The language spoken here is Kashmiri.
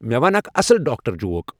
مے ون اکھ اصل ڈاکٹر جوک ۔